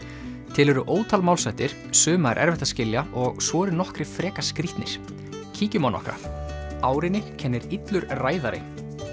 til eru ótal málshættir suma er erfitt að skilja og svo eru nokkrir frekar skrítnir kíkjum á nokkra árinni kennir illur ræðari